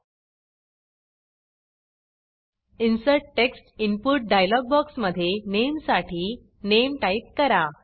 insert text input insert text input dialogue बॉक्समधे नेमसाठी नामे टाईप करा